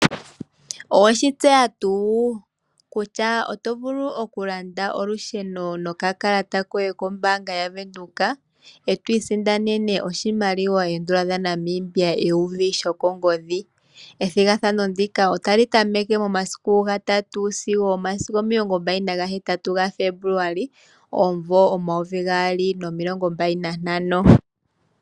Oweshi tseya tuu kutya otovulu okulanda olusheno no kakalata koye kombaanga yaVenduka eto isindanene oshimaliwa oondola dha Namibia eyovi lyo kongodhi. Methigathano ndika otali tameke momasiku ga tatu sigo omasiku omilongombali naga hetatu ga Febuluali omumvo omayovi gaali nomilongombali nantano